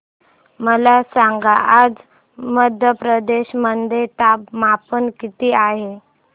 मला सांगा आज मध्य प्रदेश मध्ये तापमान किती आहे